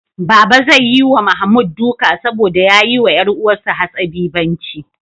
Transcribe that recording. Baba zai yi wa Mahmud duka saboda ya yi wa ƴar uwarsa hatsabibanci.